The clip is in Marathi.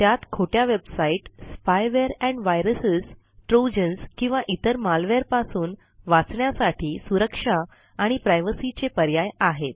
त्यात खोट्या website spyware and virus trojans किंवा इतर मालवेअर पासून वाचण्यासाठी सुरक्षा आणि प्रायव्हसी चे पर्याय आहेत